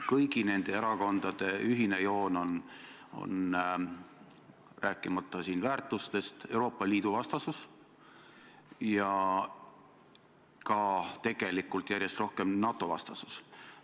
Kõigi nende erakondade ühine joon, rääkimata väärtustest, on Euroopa Liidu vastasus ja tegelikult ka järjest rohkem NATO-vastasus.